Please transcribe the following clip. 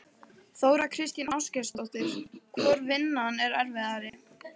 Þóra Kristín Ásgeirsdóttir: Hvor vinnan er erfiðari?